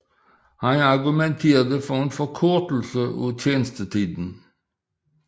Han argumenterede for en forkortelse af tjenestetiden